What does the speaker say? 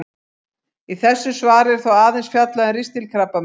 Í þessu svari er þó aðeins fjallað um ristilkrabbamein.